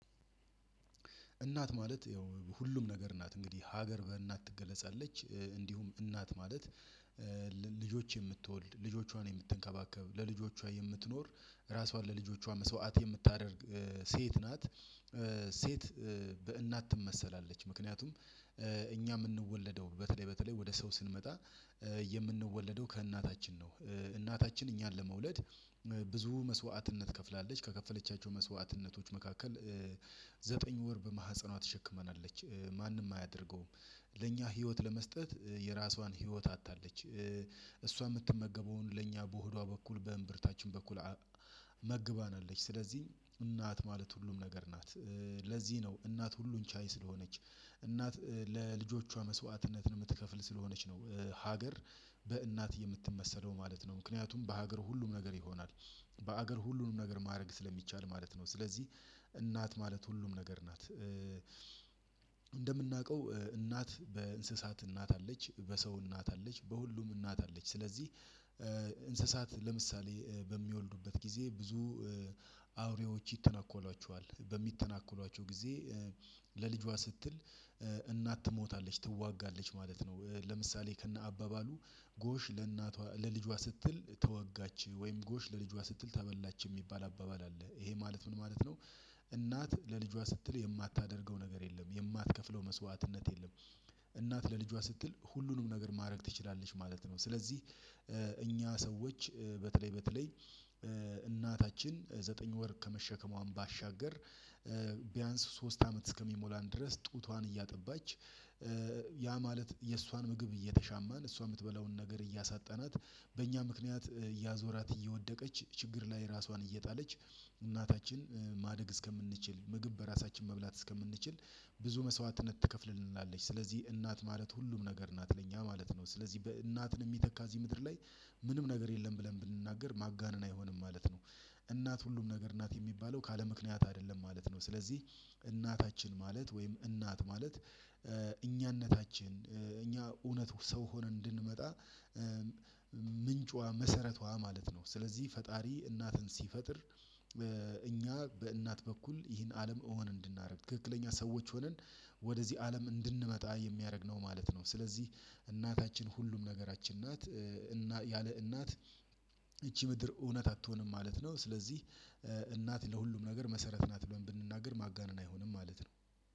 እናት ማለት ያው ሁሉም ነገር ናት። እንግዲህ ሀገር በእናት ትገለጻለች። እንዲሁም እናት ማለት ልጆች የምትወልድ፣ ልጆቿን የምትንከባከብ፣ ለልጆቿ የምትኖር፣ ራሷን ለልጆቿ መስዋዕት የምታደርግ ሴት ናት። ሴት በእናት ትመሰላለች። ምክንያቱም እኛ የምንወለደው በተለይ በተለይ ወደ ሰው ስንመጣ የምንወለደው ከእናታችን ነው። እናታችን እኛን ለመውለድ ብዙ መስዋዕትነት ከፍላለች። ከከፈለቻቸው መስዋዕትነቶች መካከል ዘጠኝ ወር በማህፀኗ ተሸክማናለች። ማንም አያደርገውም። ለኛ ህይወት ለመስጠት የራሷን ህይወት አጥታለች። እሷ የምትመገበውን ለእኛ በሆዷ በኩል በእምብርታችን በኩል መግባናለች። ስለዚህ እናት ማለት ሁሉም ነገር ናት። ለዚህ ነው እናት ሁሉን ቻይ ስለሆነች እናት ለልጆቿ መስዋዕትነትን የምትከፍል ስለሆነች ነው ሀገር በእናት የምትመሰለው ማለት ነው። ምክንያቱም በሀገር ሁሉም ነገር ይሆናል። በሀገር ሁሉንም ነገር ማድረግ ስለሚቻል ማለት ነው። ስለዚህ እናት ማለት ሁሉም ነገር ናት። እንደምናውቀው እናት በእንስሳት እናት አለች፤ በሰው እናት አለች፤ በሁሉም እናት አለች፤ ስለዚህ እንስሳት ለምሳሌ በሚወልዱበት ጊዜ ብዙ ይተናኮሏቸዋል። በሚተናኮሏቸው ጊዜ ለልጇ ስትል እናት ትሞታለች ትዋጋለች ማለት ነው። ለምሳሌ ከነ አባባሉ ጎሽ ለእናቷ ለልጇ ስትል ተወጋች ወይም ጎሽ ለልጇ ስትል ተበላች የሚባል አባባል አለ። ይሄ ማለት ምን ማለት ነው እናት ለልጇ ስትል የማታደርገው ነገር የለም። የማትከፍለው መስዋዕትነት የለም። እናት ለልጇ ስትል ሁሉንም ነገር ማድረግ ትችላለች ማለት ነው። ስለዚህ እኛ ሰዎች በተለይ በተለይ እናታችን ዘጠኝ ወር ከመሸከሟም ባሻገር ሶስት አመት እስከሚሞላን ድረስ ጡቷን እያጠባች ያ ማለት የእሷን ምግብ እየተሻማን እሷ የምትበላውን ነገር እያሳጣናት በእኛ ምክንያት እያዞራት እየወደቀች ችግር ላይ ራሷን እየጣለች እናታችን ማደግ እስከምንችል ምግብ በራሳችን መብላት እስከምንችል ብዙ መስዋዕትነት ትከፍልልናለች። ስለዚህ እናት ማለት ሁሉም ነገር እናት ለኛ ማለት ነው። ስለዚህ እናትን የሚተካ እዚህ ምድር ላይ ምንም ነገር የለም ብለን ብንናገር ማጋነን አይሆንም ማለት ነው። እናት ሁሉም ነገር ናት የሚባለው ካለምክንያት አይደለም ማለት ነው። ስለዚህ እናታችን ማለት ወይም እናት ማለት እኛነታችን እኛ እውነት ሰው ሆነን እንድንመጣ ምንጯ መሰረቷ ማለት ነው። ስለዚህ ፈጣሪ እናትን ሲፈጥር እኛ በእናት በኩል ይህን አለም እውን እንድናደርግ ትክክለኛ ሰዎች ሆነን ወደዚህ አለም እንድንመጣ የሚያደርግ ነው ማለት ነው። ስለዚህ እናታችን ሁሉም ነገራችን ናት። እና ያለ እናት ይቺ ምድር እውነት አትሆንም ማለት ነው። ስለዚህ እናት ለሁሉም ነገር መሰረት ናት ብለን ብንናገር ማጋነን አይሆንም ማለት ነው።